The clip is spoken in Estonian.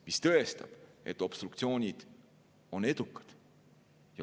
See tõestab, et obstruktsioonid on edukad.